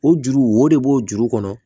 O juru wo de b'o juru kɔnɔ